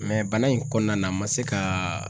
bana in kɔnɔna na a ma se ka